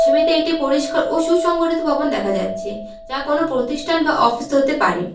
ছবিতে একটি পরিষ্কার ও সুসংগঠিত ভবন দেখা যাচ্ছে যা কোনো প্রতিষ্ঠান বা অফিস হতে পারে।